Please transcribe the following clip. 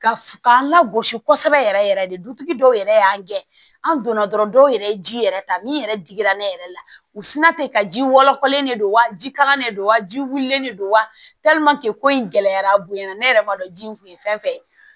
Ka f k'an lagosi kosɛbɛ yɛrɛ yɛrɛ de dutigi dɔw yɛrɛ y'an gɛn an donna dɔrɔn dɔw yɛrɛ ye ji yɛrɛ ta min yɛrɛ digira ne yɛrɛ la u sinna ten ka ji wɔlɔkɔlen de don wa jikalan de don wa ji wililen de don wa ko in gɛlɛyara a bonyana ne yɛrɛ b'a dɔn ji in kun ye fɛn fɛn ye